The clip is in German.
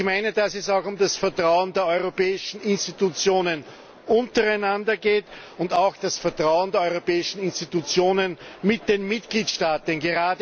Ich meine, dass es auch um das Vertrauen der europäischen Institutionen untereinander geht und auch das Vertrauen der europäischen Institutionen zu den Mitgliedstaaten.